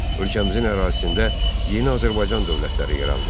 Ölkəmizin ərazisində yeni Azərbaycan dövlətləri yarandı.